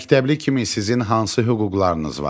Məktəbli kimi sizin hansı hüquqlarınız var?